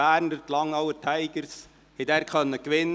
Die Langnauer Tigers konnten dort gewinnen.